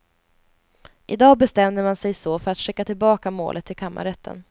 I dag bestämde man sig så för att skicka tillbaka målet till kammarrätten.